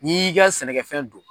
N'i y'i ka sɛnɛkɛfɛn don